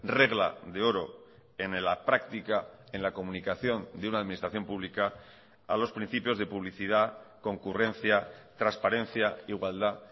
regla de oro en la práctica en la comunicación de una administración pública a los principios de publicidad concurrencia transparencia igualdad